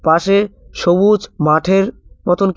পাশে সবুজ মাঠের মতন কি--